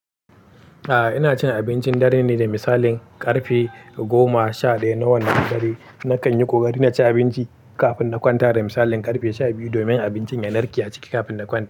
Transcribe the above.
A'a ina cin abincin dare ne da misalin karfe goma sha ɗaya na wannan dare. Nakan yi ƙoƙari na ci abinci kafin na kwanta da misalin karfe sha biyu domin abincin ya narke a ciki kafin na kwanta.